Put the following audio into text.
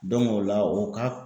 o la o ka